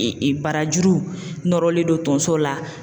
barajuru nɔrɔlen don tonso la.